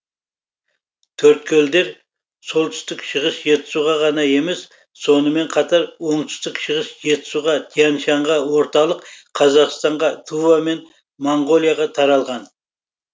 төрткөлдер солтүстік шығыс жетісуға ғана емес сонымен қатар оңтүстік шығыс жетісуға тянь шаньға орталық қазақстанға тува мен моңғолияға таралған